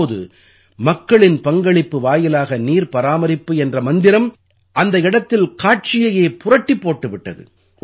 இப்போது மக்களின் பங்களிப்பு வாயிலாக நீர் பராமரிப்பு என்ற மந்திரம் அந்த இடத்தில் காட்சியையே புரட்டிப் போட்டு விட்டது